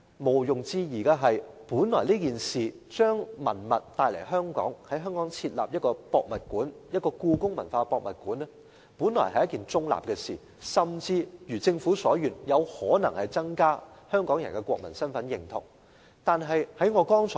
毋庸置疑的是，在香港設立一個故宮館、把文物帶來香港本來是一件中立的事，甚至如政府所願，有可能增加香港人的國民身份認同。